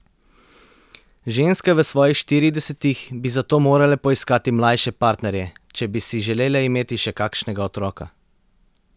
Ženske v svojih štiridesetih bi zato morale poiskati mlajše partnerje, če bi si želele imeti še kakšnega otroka.